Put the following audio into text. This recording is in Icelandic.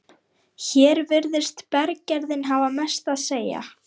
í tengslum við byggingu álvers Norðuráls á